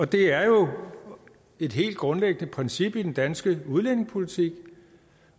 det er jo et helt grundlæggende princip i den danske udlændingepolitik